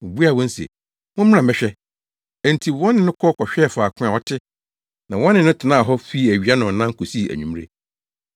Obuaa wɔn se, “Mommra mmɛhwɛ.” Enti wɔne no kɔ kɔhwɛɛ faako a ɔte na wɔne no tenaa hɔ fii awia nnɔnnan kosii anwummere.